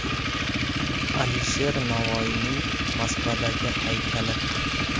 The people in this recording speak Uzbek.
Alisher Navoiyning Moskvadagi haykali.